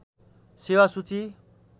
सेेवा सूची